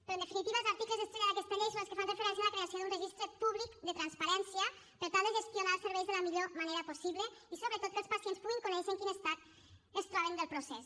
però en definitiva els articles estrella d’aquesta llei són els que fan referència a la creació d’un registre públic de transparència per tal de gestionar els serveis de la millor manera possible i sobretot que els pacients puguin conèixer en quin estat es troben del procés